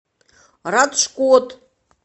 раджкот